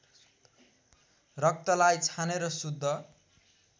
रक्तलाई छानेर शुद्ध